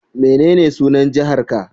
Menene sunan jihar ka?